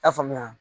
I y'a faamuya